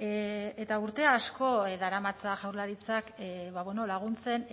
eta urte asko daramatza jaurlaritzak laguntzen